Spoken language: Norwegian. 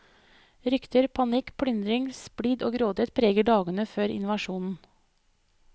Rykter, panikk, plyndring, splid og grådighet preger dagene før invasjonen.